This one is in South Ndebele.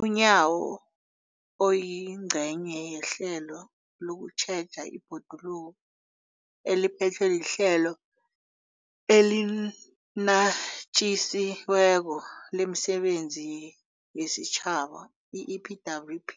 UNyawo, oyingcenye yehlelo lokutjheja ibhoduluko eliphethwe liHlelo eliNatjisi weko lemiSebenzi yesiTjhaba, i-EPWP,